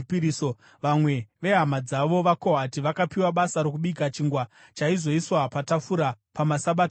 Vamwe vehama dzavo vaKohati vakapiwa basa rokubika chingwa chaizoiswa patafura pamaSabata ose.